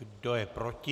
Kdo je proti?